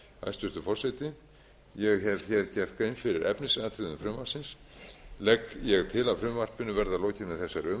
hæstvirtur forseti ég hef gert grein fyrir efnisatriðum frumvarpsins ég legg til að frumvarpinu verði að lokinni þessari umræðu